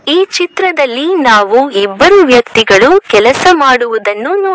ಈ ಚಿತ್ರದಲ್ಲಿ ನಾವು ಇಬ್ಬರು ವ್ಯಕ್ತಿಗಳು ಕೆಲಸ ಮಾಡುವುದನ್ನು ನೋ--